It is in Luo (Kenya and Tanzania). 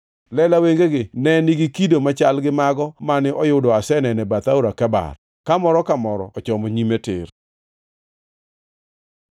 Lela wengegi ne nigi kido machal gi mago mane oyudo aseneno e bath Aora Kebar, ka moro ka moro ochomo nyime tir.